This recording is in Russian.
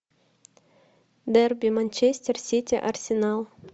дерби манчестер сити арсенал